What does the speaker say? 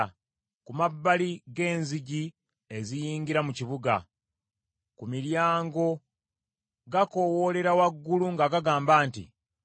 ku mabbali g’enzigi eziyingira mu kibuga, ku miryango, gakoowoolera waggulu nga gagamba nti,